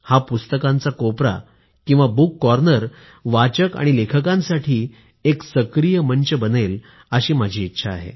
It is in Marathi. हा पुस्तकांचा कोपरा बुक कॉर्नर वाचक आणि लेखकांसाठी एक सक्रीय मंच बनेल अशी माझी इच्छा आहे